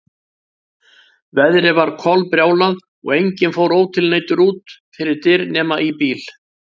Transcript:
Veðrið var kolbrjálað og enginn fór ótilneyddur út fyrir dyr nema í bíl.